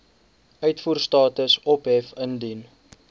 uitvoerstatus ophef indien